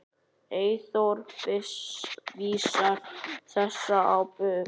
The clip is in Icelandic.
Eyþór vísar þessu á bug.